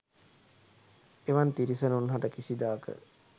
එවන් තිරිසනුන් හට කිසිදාක